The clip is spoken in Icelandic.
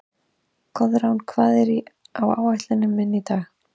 Koðrán, hvað er á áætluninni minni í dag?